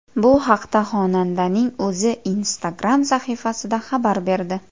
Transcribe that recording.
Bu haqda xonandaning o‘zi Instagram sahifasida xabar berdi .